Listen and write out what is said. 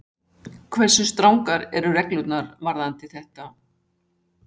Hversu strangar eru reglurnar varðandi þetta?